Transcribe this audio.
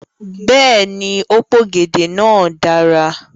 Bẹẹni, o p'ògèdè náà dára.